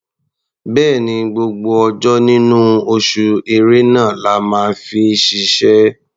Bẹ́ẹ̀ni, gbogbo ọjọ́ nínú oṣù Ẹ̀rẹnà la máa fi ṣiṣẹ́.